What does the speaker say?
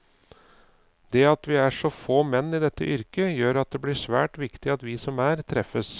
Det at vi er så få menn i dette yrket, gjør at det blir svært viktig at vi som er, treffes.